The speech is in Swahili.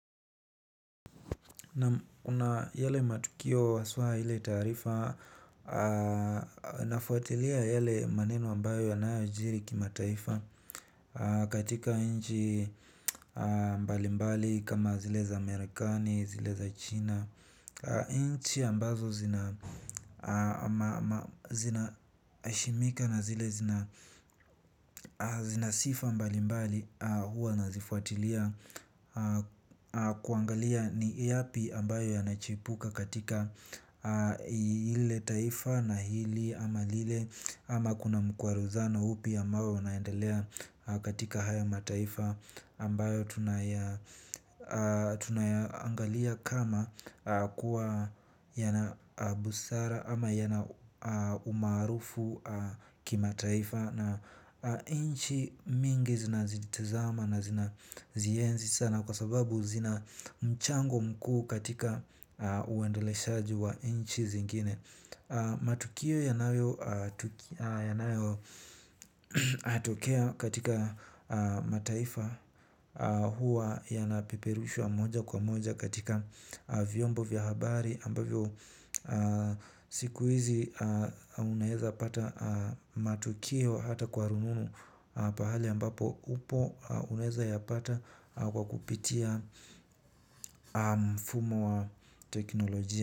Kuna yale matukio haswa ile tarifa. Nafuatilia yale maneno ambayo yanayojiri kimataifa katika nchi mbali mbali kama zile za Marekani, zile za China. Nchi ambazo zina heshimika na zile zina zina sifa mbali mbali huwa nazifuatilia kuangalia ni yapi ambayo yanachipuka katika lile taifa na hili ama lile, ama kuna mkwaruzano upi ambao unaendelea katika haya mataifa ambayo tunayangalia kama kuwa yana busara ama yana umarufu kimataifa. Na nchi mingi zinazitazama na zinazienzi sana kwa sababu zina mchango mkuu katika uendeleshaji wa nchi zingine. Matukio yanayotokea katika mataifa huwa yanapeperushwa moja kwa moja katika vyombo via habari ambavyo siku hizi unaweza pata matukio hata kwa rununu pahali ambapo upo unaweza yapata kwa kupitia mfumo wa teknolojia.